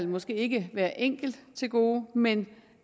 måske ikke hver enkelt til gode men